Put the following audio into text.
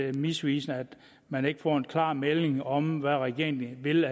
misvisende at man ikke får en klar melding om hvad regeringen vil